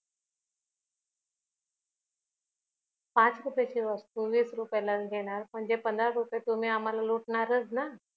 पाच रुपयाची वस्तू वीस रुपयाला घेणार म्हणजे पंधरा रुपय तुम्ही आंम्हाला लुटणारच ना